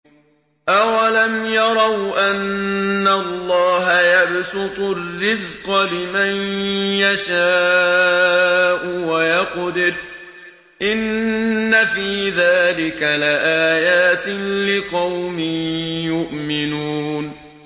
أَوَلَمْ يَرَوْا أَنَّ اللَّهَ يَبْسُطُ الرِّزْقَ لِمَن يَشَاءُ وَيَقْدِرُ ۚ إِنَّ فِي ذَٰلِكَ لَآيَاتٍ لِّقَوْمٍ يُؤْمِنُونَ